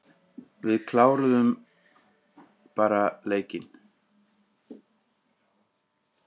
Við kláruðu bara leikinn.